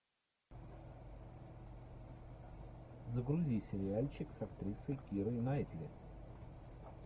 загрузи сериальчик с актрисой кирой найтли